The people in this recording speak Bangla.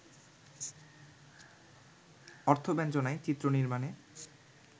অর্থব্যঞ্জনায়, চিত্রনির্মাণে